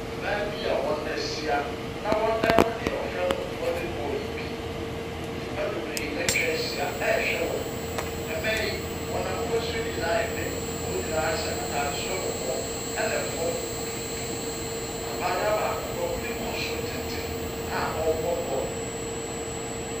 Mmaa bia wɔahyia na ɔrebɔ deɛ ɔfrɛ no volley ball yi bi. Nnipa bebree ɛtwahyia ɛrehwɛ wɔn. Mmaa yi w'ahofasuo nyinaa yɛ pɛ. Ebi hyɛ ataade soro kɔkɔɔ ɛna fam tuntum. Abaayewa baako wɛhuri kɔ soro tententen a ɔrebɔ bɔɔl no.